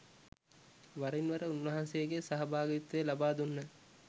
වරින්වර උන්වහන්සේගේ සහභාගිත්වය ලබාදුන්හ.